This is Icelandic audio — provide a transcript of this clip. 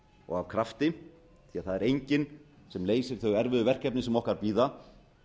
og af krafti því það er enginn sem leysir þau erfiðu verkefni sem okkar bíða